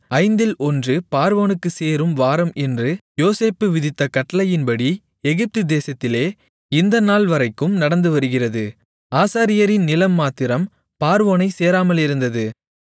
ஐந்தில் ஒன்று பார்வோனுக்குச் சேரும் வாரம் என்று யோசேப்பு விதித்த கட்டளையின்படி எகிப்து தேசத்திலே இந்த நாள்வரைக்கும் நடந்துவருகிறது ஆசாரியரின் நிலம் மாத்திரம் பார்வோனைச் சேராமலிருந்தது